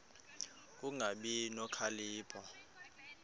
ku kungabi nokhalipho